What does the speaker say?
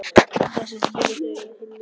Og það sem skilur þau að er hinn mikli